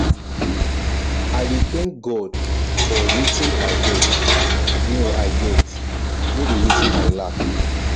i dey tank god for wetin i get no i get no be wetin i lack